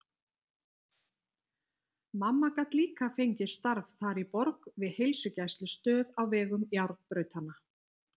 Mamma gat líka fengið starf þar í borg við heilsugæslustöð á vegum járnbrautanna.